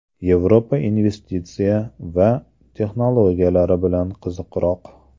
Yevropa investitsiya va texnologiyalari bilan qiziqroq.